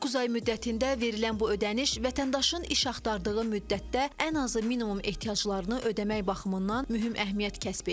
Doqquz ay müddətində verilən bu ödəniş vətəndaşın iş axtardığı müddətdə ən azı minimum ehtiyaclarını ödəmək baxımından mühüm əhəmiyyət kəsb edir.